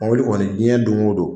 Mobili kɔni diɲɛ dongo don